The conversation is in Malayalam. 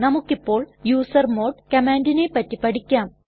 നമുക്കിപ്പോൾ യൂസർമോഡ് കമാൻഡിനെ പറ്റി പഠിക്കാം